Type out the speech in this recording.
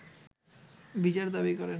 বিচার দাবি করেন